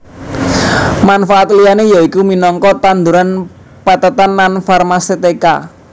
Manfaat liyané yaiku minangka tanduran pethètan lan farmasetika